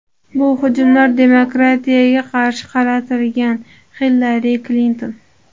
Bu hujumlar demokratiyaga qarshi qaratilgan”, – Hillari Klinton.